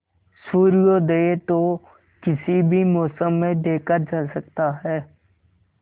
सूर्योदय तो किसी भी मौसम में देखा जा सकता है